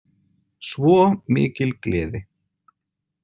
Svo mikil gleði.